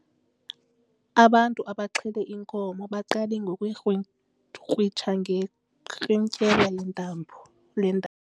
Abantu abaxhele inkomo baqale ngokuyikrwitsha ngerhintyela le ntambo lentambo.